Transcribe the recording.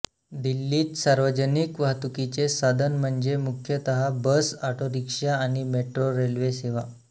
दिल्लीत सार्वजनिक वाहतुकीचे साधन म्हणजे मुख्यत बस ऑटोरिक्षा आणि मेट्रो रेल सेवा